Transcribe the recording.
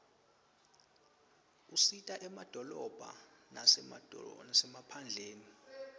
usita emadolobha lasemaphandleni